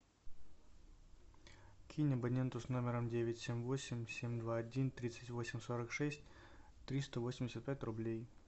кинь абоненту с номером девять семь восемь семь два один тридцать восемь сорок шесть триста восемьдесят пять рублей